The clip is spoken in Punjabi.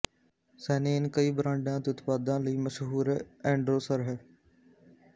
ਸੈਨੇਨ ਕਈ ਬ੍ਰਾਂਡਾਂ ਅਤੇ ਉਤਪਾਦਾਂ ਲਈ ਮਸ਼ਹੂਰ ਐਂਡਰੋਸਰ ਹੈ